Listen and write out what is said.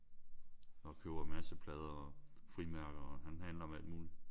Og køber en masse plader og frimærker og han handler med alt muligt